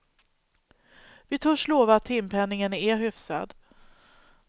Vi törs lova att timpenningen är hyfsad.